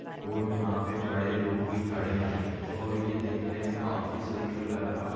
और यहाँ पे बडे लोग भी खडे है और ये देखने मे काफी सुंदर लग रहा --